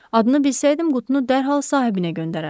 Adını bilsəydim, qutunu dərhal sahibinə göndərərdim.